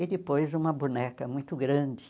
E depois uma boneca muito grande.